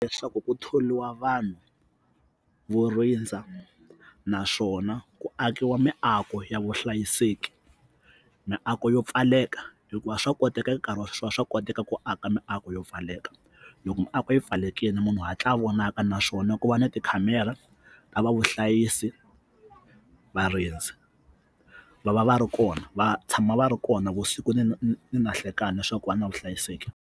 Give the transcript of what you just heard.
Leswaku ku tholiwa vanhu vo rindza naswona ku akiwa miako ya vuhlayiseki miako yo pfaleka hikuva swa koteka nkarhi wa sweswi wa swa koteka ku aka miako yo pfaleka loko miako yi pfalelekile munhu hatla vonaka naswona ku va na tikhamera ta va vuhlayisi, varindzi va va va ri kona va tshama va ri kona vusiku ni ni ni ni na nhlekani leswaku va na vuhlayiseki.